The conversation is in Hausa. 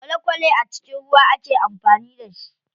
Kwale kwale a cikin ruwa ake amfani da shi.